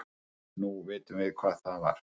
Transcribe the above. Nú vitum við hvað það var.